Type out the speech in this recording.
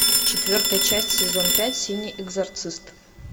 четвертая часть сезон пять синий экзорцист